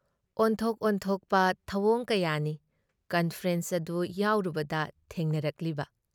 ꯑꯣꯟꯊꯣꯛ ꯑꯣꯟꯊꯣꯛꯄ ꯊꯧꯑꯣꯡ ꯀꯌꯥꯅꯤ ꯀꯟꯐꯔꯦꯟꯁ ꯑꯗꯨ ꯌꯥꯎꯔꯨꯕꯗ ꯊꯦꯡꯅꯔꯛꯂꯤꯕ ꯫